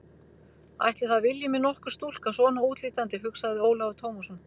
Ætli það vilji mig nokkur stúlka svona útlítandi, hugsaði Ólafur Tómasson.